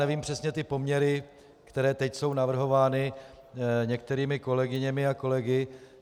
Nevím přesně ty poměry, které teď jsou navrhovány některými kolegyněmi a kolegy.